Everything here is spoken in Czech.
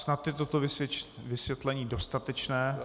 Snad je toto vysvětlení dostatečné.